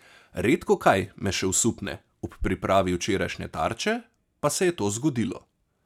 Redko kaj me še osupne, ob pripravi včerajšnje Tarče pa se je to zgodilo.